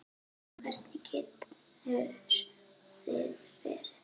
Hvernig getur það verið?